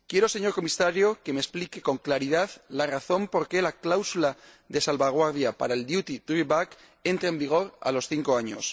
Señor Comisario, quiero que me explique con claridad la razón por la que la cláusula de salvaguardia para el duty drawback entra en vigor a los cinco años.